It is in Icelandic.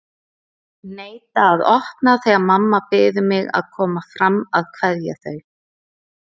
Neita að opna þegar mamma biður mig að koma fram að kveðja þau.